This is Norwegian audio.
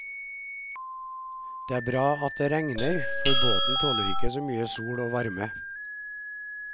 Det er bra at det regner, for båten tåler ikke så mye sol og varme.